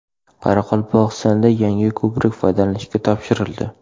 Qoraqalpog‘istonda yangi ko‘prik foydalanishga topshirildi.